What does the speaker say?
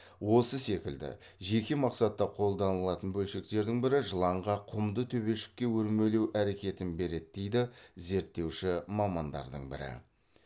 осы секілді жеке мақсатта қолданылатын бөлшектердің бірі жыланға құмды төбешікке өрмелеу әрекетін береді дейді зертеуші мамандардың бірі